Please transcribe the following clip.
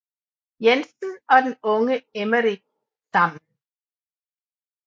Jensen og den unge Emmerik sammen